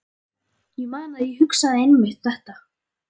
Ég man að ég hugsaði einmitt þetta.